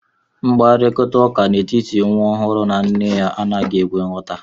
Mkparịta ụka n'etiti nwa ọhụrụ na nne anaghi ekwe nghota